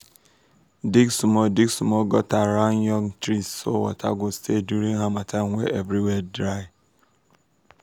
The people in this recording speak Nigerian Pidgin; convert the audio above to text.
dig small dig small gutter round young trees so water go stay long during harmattan when everywhere dry.